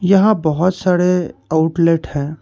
यहां बहोत सारे आउटलेट है।